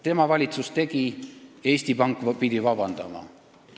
Tema valitsus tegi selle ja Eesti Pank pidi vabandust paluma.